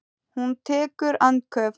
Hún tekur andköf.